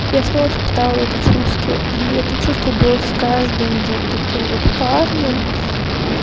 я снова испытала это чувство и это чувство было с каждым вот таким вот парнем